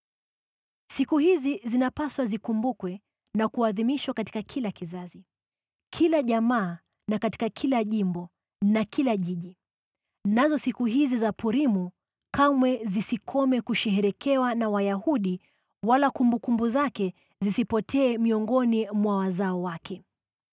Siku hizi zinapasa zikumbukwe na kuadhimishwa katika kila kizazi, kila jamaa na katika kila jimbo na kila jiji. Nazo siku hizi za Purimu kamwe zisikome kusherehekewa na Wayahudi, wala kumbukumbu zake zisipotee miongoni mwa wazao wake.